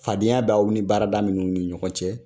Fadenya b'aw ni baarada minun ni ɲɔgɔn cɛ .